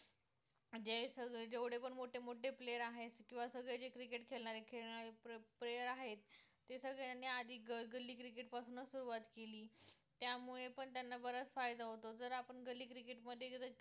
जे सगळे जेवढे पण मोठे मोठे player आहे, किंवा सगळे जे cricket खेळणारे player आहेत ते सगळ्यांनी आधी गल्ली cricket पासून च सुरूवात केली त्यामुळे पण त्यांना बराच फायदा होतो जर आपण गल्ली cricket मध्ये